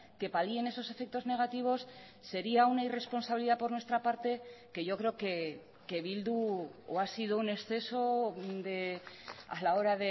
que palien esos efectos negativos sería una irresponsabilidad por nuestra parte que yo creo que bildu o ha sido un exceso a la hora